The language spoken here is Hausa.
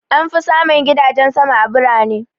An fi samun gidajen sama a birane.